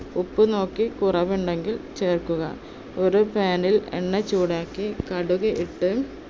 ഉപ്പു നോക്കി കുറവുണ്ടെങ്കിൽ ചേർക്കുക. ഒരു pan ൽ എണ്ണ ചൂടാക്കി കടുകിട്ട്